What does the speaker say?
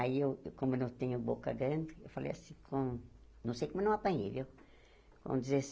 Aí, eu como eu não tenho boca grande, eu falei assim, não não sei como não apanhei, viu? Com